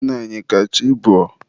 Nna anyị, ka chi bọọ.